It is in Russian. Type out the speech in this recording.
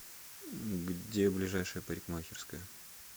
где ближайшая парикмахерская